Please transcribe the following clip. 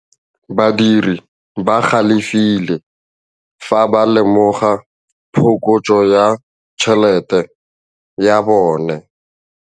Badiri ba galefile fa ba lemoga phokotsô ya tšhelête ya bone.